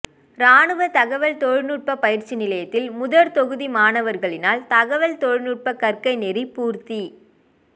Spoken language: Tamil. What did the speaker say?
இராணுவ தகவல் தொழிநுட்ப பயிற்சி நிலையத்தில் முதற்தொகுதி மாணவர்களினால் தகவல் தொழிநுட்ப கற்கைநெறி பூர்த்தி